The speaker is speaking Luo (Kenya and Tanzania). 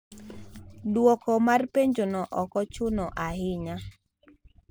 Dwoko mar penjono ok ochuno ahinya.